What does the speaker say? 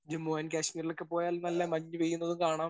Speaker 1 Jammu and കാശ്മീരിലൊക്കെ പോയാൽ നല്ല മഞ്ഞുപെയ്യുന്നത് കാണാം.